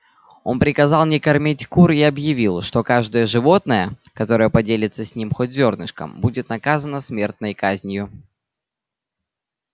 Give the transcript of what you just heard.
он приказал не кормить кур и объявил что каждое животное которое поделится с ними хоть зёрнышком будет наказано смертной казнью